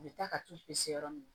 U bɛ taa ka t'u pese yɔrɔ min